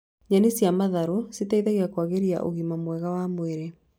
Nyeni cia matharũ citeithagia kuagĩria ũgima mwega wa mwĩrĩ